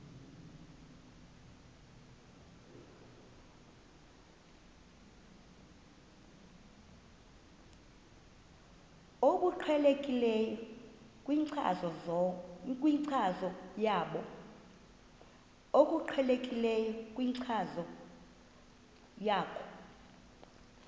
obuqhelekileyo kwinkcazo yakho